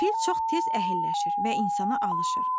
Fil çox tez əhəlləşir və insana alışır.